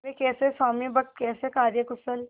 वे कैसे स्वामिभक्त कैसे कार्यकुशल